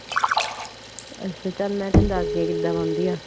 ਅੱਛਾ ਚਲ ਮੈਂ ਤੇਨੂੰ ਦਸਦੀ ਹਾਂ ਕਿੱਦਾ ਬਣਦੀ ਐ